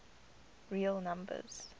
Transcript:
real numbers